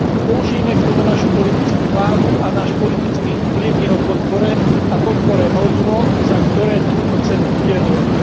Použijeme k tomu našu politickú váhu a náš politický vplyv v jeho podpore a podpore hodnôt, za ktoré túto cenu udeľujeme.